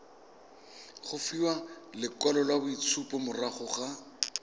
go fiwa lekwaloitshupo morago ga